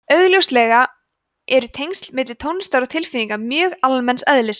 augljóslega eru tengsl milli tónlistar og tilfinninga mjög almenns eðlis